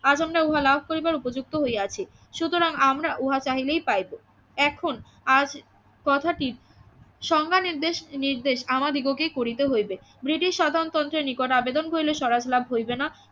আজ আমরা উহা লাভ করিবার উপযুক্ত হইয়াছি সুতরাং আমরা উহা চাইলেই পাইব এখন আজ কথাটি সংজ্ঞা নির্দেশ নির্দেশ আমাদিগকে করিতে হইবে ব্রিটিশ শাসনতন্ত্রের নিকট আবেদন করিলে স্বরাজ লাভ হইবে না